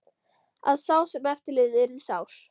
Að sá sem eftir lifði yrði sár.